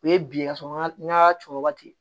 U ye bi ye ka sɔrɔ n ka cɔ wagati